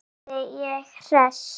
spurði ég hress.